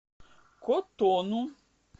котону